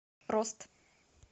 рост